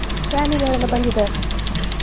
Family ಅವ್ರೆಲ್ಲ ಬಂದಿದ್ದಾರಾ?